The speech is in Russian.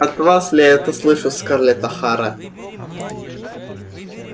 от вас ли это слышу скарлетт охара